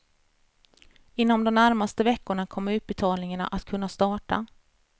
Inom de närmaste veckorna kommer utbetalningarna att kunna starta.